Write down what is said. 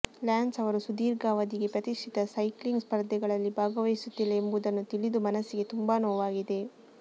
lance ಅವರು ಸುದೀರ್ಘ ಅವಧಿಗೆ ಪ್ರತಿಷ್ಠಿತ ಸೈಕ್ಲಿಂಗ್ ಸ್ಪರ್ಧೆಗಳಲ್ಲಿ ಭಾಗವಹಿಸುತ್ತಿಲ್ಲ ಎಂಬುದನ್ನು ತಿಳಿದು ಮನಸ್ಸಿಗೆ ತುಂಬಾ ನೋವಾಗಿದೆ